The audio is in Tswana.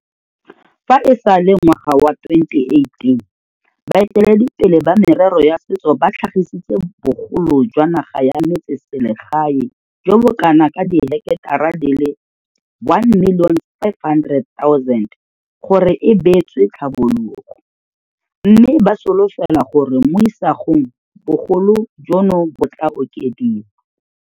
Fa e sale ngwaga wa 2018, baeteledipele ba merero ya setso ba tlhagisitse bogolo jwa naga ya metsese legae jo bo kanaka diheketara di le 1 500 000 gore e beetswe tlhabologo, mme ba solofela gore mo isagong bogolo jono bo tla okediwa.